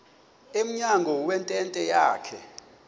emnyango wentente yakhe